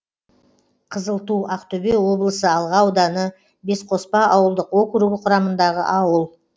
қызылту ақтөбе облысы алға ауданы бесқоспа ауылдық округі құрамындағы ауыл